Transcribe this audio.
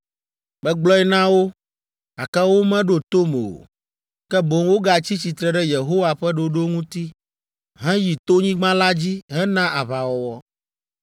Megblɔe na wo, gake womeɖo tom o, ke boŋ wogatsi tsitre ɖe Yehowa ƒe ɖoɖo ŋuti heyi tonyigba la dzi hena aʋawɔwɔ.